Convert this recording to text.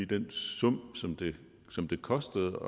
den sum som det kostede